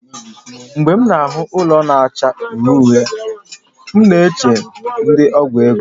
Mgbe m na-ahụ ụlọ na-acha uhie uhie, m na-eche ndi ọgwụ ego